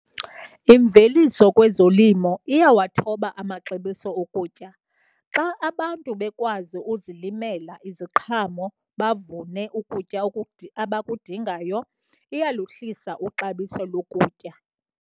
Imveliso kwezolimo iyawathoba amaxabiso okutya. Xa abantu bekwazi uzilimela iziqhamo bavune ukutya abakudingayo, iyaluhlisa ixabiso lokutya.